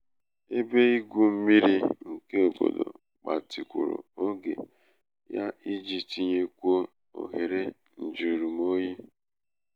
ebe igwu mmiri nke obodo gbatikwuru oge ya iji tinyekwuo ohere um njujurumoyi